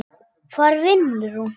Hvar vinnur hún?